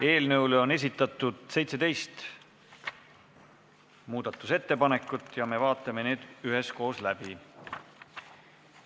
Eelnõu kohta on esitatud 17 muudatusettepanekut ja me vaatame need üheskoos läbi.